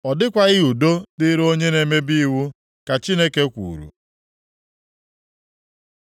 “Ọ dịkwaghị udo dịrị onye na-emebi iwu,” ka Chineke kwuru.